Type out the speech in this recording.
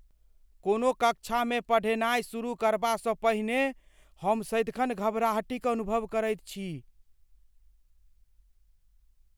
कोनो कक्षामे पढ़ेनाइ शुरू करबासँ पहिने हम सदिखन घबराहटि अनुभव करैत छी।